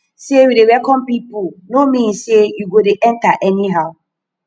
sey we dey welcome pipu no mean sey you go dey enta anyhow